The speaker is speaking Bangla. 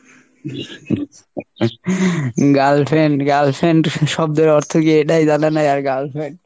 , girlfriend girlfriend শব্দের অর্থ কী এটাই জানে না আর girlfriend